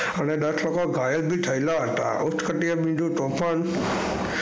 અને દસ લોકો ઘાયલ બી થયેલા હતા અને તો પણ,